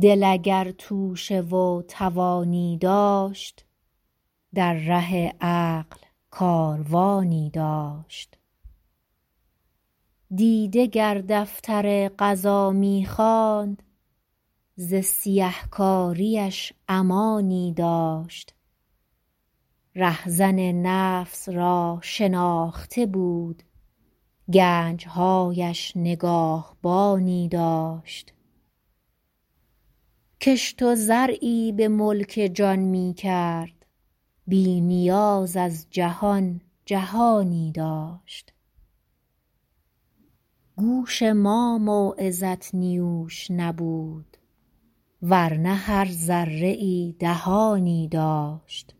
دل اگر توشه و توانی داشت در ره عقل کاروانی داشت دیده گر دفتر قضا میخواند ز سیه کاریش امانی داشت رهزن نفس را شناخته بود گنجهایش نگاهبانی داشت کشت و زرعی به ملک جان میکرد بی نیاز از جهان جهانی داشت گوش ما موعظت نیوش نبود ورنه هر ذره ای دهانی داشت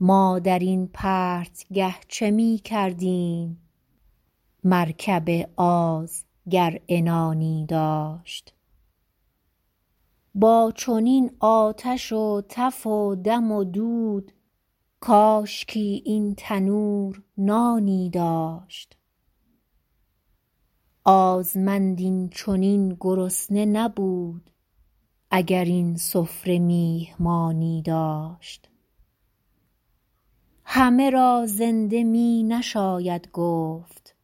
ما در این پرتگه چه میکردیم مرکب آز گر عنانی داشت با چنین آتش و تف و دم و دود کاشکی این تنور نانی داشت آزمند این چنین گرسنه نبود اگر این سفره میهمانی داشت همه را زنده می نشاید گفت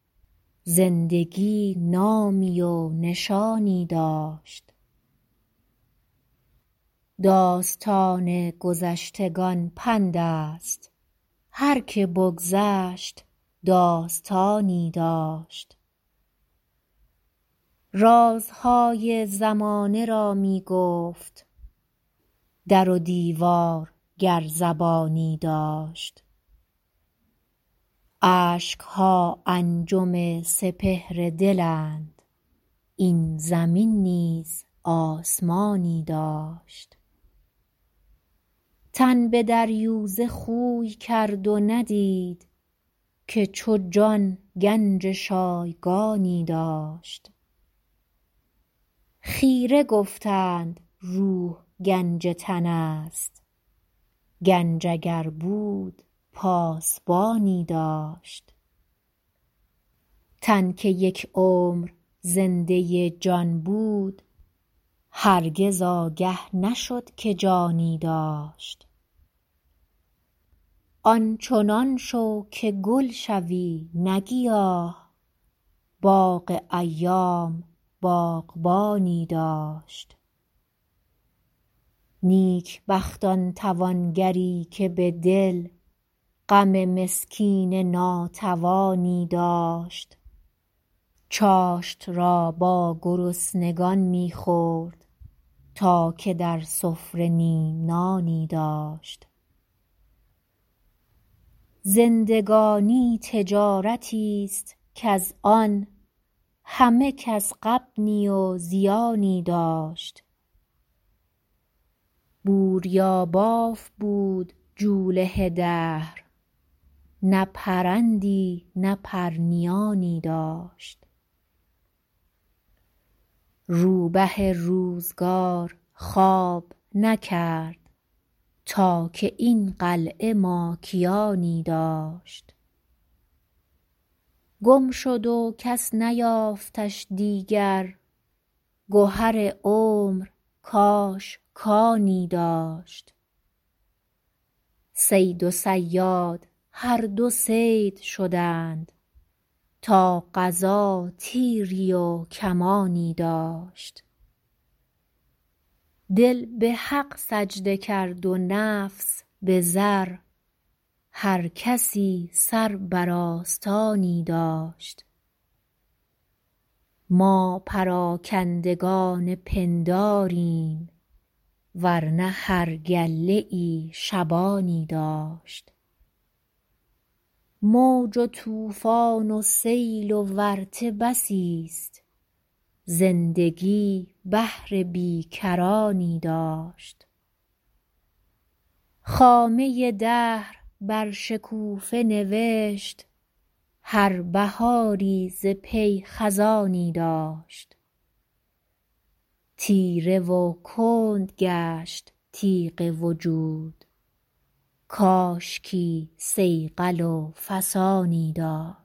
زندگی نامی و نشانی داشت داستان گذشتگان پند است هر که بگذشت داستانی داشت رازهای زمانه را میگفت در و دیوار گر زبانی داشت اشکها انجم سپهر دلند این زمین نیز آسمانی داشت تن بدریوزه خوی کرد و ندید که چو جان گنج شایگانی داشت خیره گفتند روح گنج تن است گنج اگر بود پاسبانی داشت تن که یک عمر زنده جان بود هرگز آگه نشد که جانی داشت آنچنان شو که گل شوی نه گیاه باغ ایام باغبانی داشت نیکبخت آن توانگری که بدل غم مسکین ناتوانی داشت چاشت را با گرسنگان میخورد تا که در سفره نیم نانی داشت زندگانی تجارتی است کز آن همه کس غبنی و زیانی داشت بوریاباف بود جوله دهر نه پرندی نه پرنیانی داشت رو به روزگار خواب نکرد تا که این قلعه ماکیانی داشت گم شد و کس نیافتش دیگر گهر عمر کاش کانی داشت صید و صیاد هر دو صید شدند تا قضا تیری و کمانی داشت دل بحق سجده کرد و نفس بزر هر کسی سر بر آستانی داشت ما پراکندگان پنداریم ورنه هر گله ای شبانی داشت موج و طوفان و سیل و ورطه بسی است زندگی بحر بی کرانی داشت خامه دهر بر شکوفه نوشت هر بهاری ز پی خزانی داشت تیره و کند گشت تیغ وجود کاشکی صیقل و فسانی داشت